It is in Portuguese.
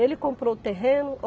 Ele comprou o terreno.